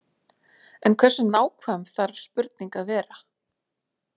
En hversu nákvæm þarf spurning að vera?